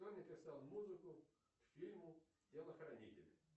кто написал музыку к фильму телохранитель